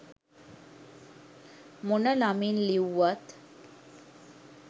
මොන නමින් ලිව්වත්.